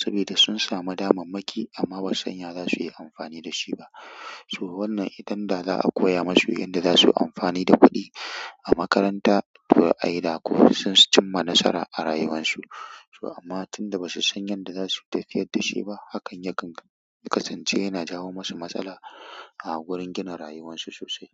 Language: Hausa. Sabida sun samu damammaki amma ba san ya za su yi amfani da shi ba. To wannan idan da za a koya musu yadda za su yi amfani da kuɗi a makaranta, to a yi ɗa, ko sun cimma nasara a rayuwarsu. To amma tun da ba su san yadda za su tafiyar da shi ba, hakan yakan kasance yana jawo musu matsala a wurin gina rayuwarsu sosai.